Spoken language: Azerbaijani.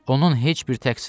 Onun heç bir təqsiri yoxdur.